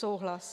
Souhlas.